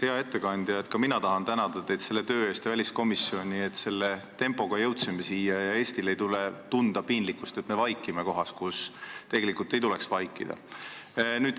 Hea ettekandja, ka mina tahan tänada teid selle töö eest ja tänada väliskomisjoni, et selle tempoga see avaldus siia jõudis ja Eestil ei tule tunda piinlikkust, et me vaikime kohas, kus tegelikult ei tuleks vaikida.